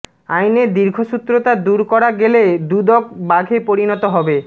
আইনের দীর্ঘসূত্রতা দূর করা গেলে দুদক বাঘে পরিণত হবে